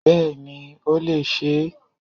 Bẹ́ẹ̀ni i ó lè se e